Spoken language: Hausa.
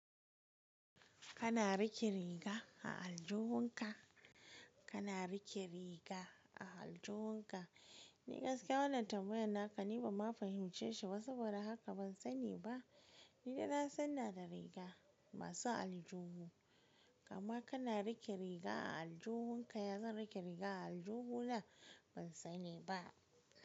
Kana rike riga a aljihun ka. Kana rike riga a aljihun ka. Ni gaskiya wannan tambayar naka ni bama fahimce shi ba saboda haka bansani ba. Ni da na sanna da riga masu aljihu, amm kana rike riga a aljihun ka ya zan rike riga a aljihu na bansani ba.